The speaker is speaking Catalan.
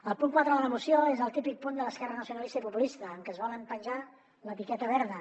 el punt quatre de la moció és el típic punt de l’esquerra nacionalista i populista en què es volen penjar l’etiqueta verda